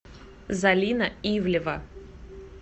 залина ивлева